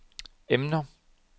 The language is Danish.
emner